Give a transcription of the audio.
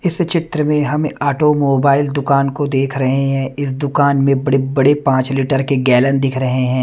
इस चित्र में हमें ऑटोमोबाइल दुकान को देख रहें हैं इस दुकान में बड़े-बड़े पाँच लीटर के गैलन दिख रहे हैं।